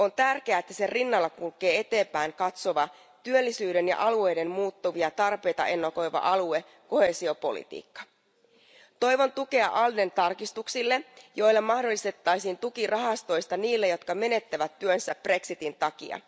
On tärkeää, että sen rinnalla kulkee eteenpäin katsova, työllisyyden ja alueiden muuttuvia tarpeita ennakoiva alue ja koheesiopolitiikka. Toivon myös tukea ALDEn tarkistuksille, joilla mahdollistettaisiin tuki rahastosta niille, jotka menettävät työnsä brexitin takia.